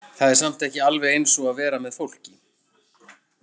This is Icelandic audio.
Það er samt ekki alveg eins og að vera með fólki.